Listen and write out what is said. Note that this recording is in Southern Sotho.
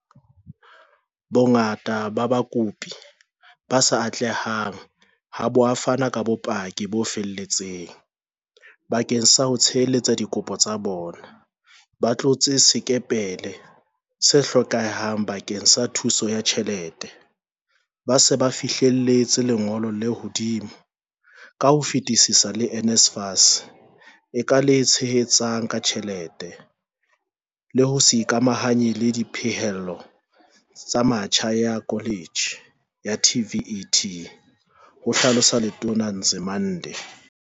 "Bongata ba bakopi ba sa atlehang ha bo a fana ka bopaki bo felletseng bakeng sa ho tshehetsa dikopo tsa bona, ba tlotse sekepele se hlokehang bakeng sa thuso ya tjhelete, ba se ba fihlelletse lengolo le hodimo ka ho fetisisa le NSFAS e ka le tshehetsang ka tjhelete le ho se ikamahanye le dipehelo tsa metjha ya koletjhe ya TVET," ho hlalosa Letona Nzimande.